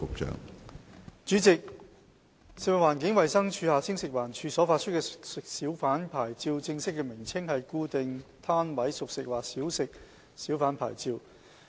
主席，食物環境衞生署所發出的熟食小販牌照的正式名稱是"固定攤位小販牌照"。